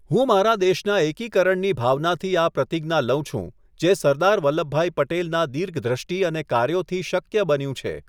હું મારા દેશના એકીકરણની ભાવનાથી આ પ્રતિજ્ઞા લઉં છું જે સરદાર વલ્લભભાઈ પટેલનાં દીર્ઘદ્રષ્ટિ અને કાર્યોથી શક્ય બન્યું છે.''